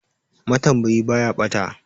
Matambayi ba ya ɓata.